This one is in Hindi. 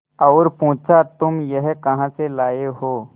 और पुछा तुम यह कहा से लाये हो